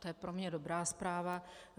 To je pro mě dobrá zpráva.